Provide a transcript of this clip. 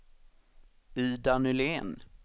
Ida Nylén